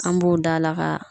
An b'o dala ka